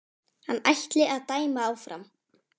Hann ætli að dæma áfram.